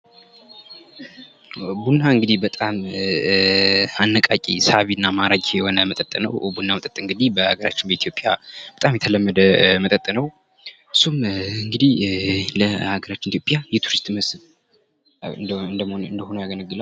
ቡና እንግዲህ በጣም አነቃቂ ሳቢና ማራኪ የሆነ መጠጥ ነው የመጠጥ እንግዲ በሀገራችን በኢትዮጵያ በጣም የተለመደ መጠጥ ነው እሱም እንግዲህ ለሀገራችን ኢትዮጵያ ቱሪስት መስብ እንዲሆን ያገለግላል።